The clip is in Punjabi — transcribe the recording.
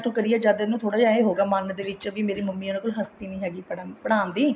two ਕਰੀ ਉਦੋਂ ਮਨ ਇਹਦਾ ਏਵੇਂ ਹੋਗਿਆ ਵੀ ਮੇਰੀ ਮੰਮੀ ਦੀ ਹਸਤੀ ਨੀ ਹੈਗੀ ਪੜਾਉਣ ਦੀ